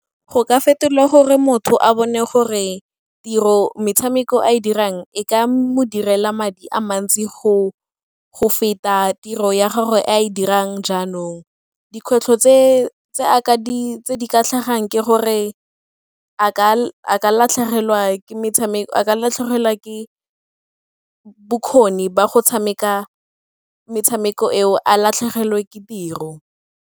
Go ka fetolwa gore motho a bone gore metshameko a e dirang e ka mo direla madi a mantsi go feta tiro ya gago e a e dirang jaanong. Dikgwetlho tse di ka tlhagang ke gore a ka latlhegelwa ke metshameko, a latlhegelwa ke bokgoni ba go tshameka metshameko eo, a latlhegelwe ke tiro.